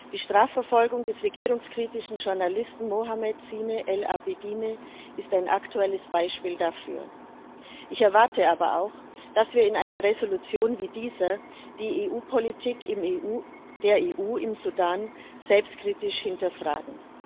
Die Strafverfolgung des regierungskritischen Journalisten Mohamed Zine al Abidine ist ein aktuelles Beispiel dafür. Ich erwarte aber auch, dass wir in einer Entschließung wie dieser die Politik der EU im Sudan selbstkritisch hinterfragen.